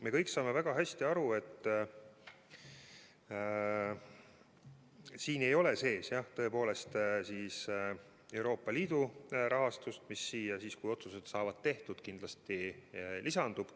Me kõik saame väga hästi aru, et siin ei ole sees, jah, Euroopa Liidu rahastust, mis kindlasti lisandub siis, kui otsused saavad tehtud.